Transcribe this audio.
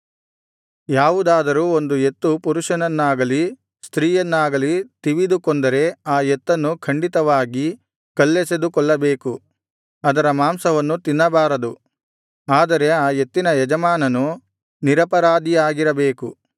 ಯಾವುದಾದರೂ ಒಂದು ಎತ್ತು ಪುರುಷನನ್ನಾಗಲಿ ಸ್ತ್ರೀಯನ್ನಾಗಲಿ ತಿವಿದು ಕೊಂದರೆ ಆ ಎತ್ತನ್ನು ಖಂಡಿತವಾಗಿ ಕಲ್ಲೆಸೆದು ಕೊಲ್ಲಬೇಕು ಅದರ ಮಾಂಸವನ್ನು ತಿನ್ನಬಾರದು ಆದರೆ ಆ ಎತ್ತಿನ ಯಜಮಾನನು ನಿರಪರಾಧಿಯಾಗಿರಬೇಕು